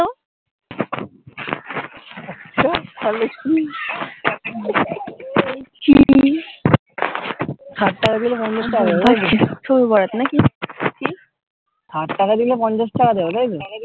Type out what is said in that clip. আচ্ছা তাহলে কি স্যাট টাকা দিলে পঞ্চাশ টাকা দেব স্যাট টাকা দিলে পঞ্চাশ টাকা দেব তাইতো